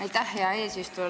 Aitäh, hea eesistuja!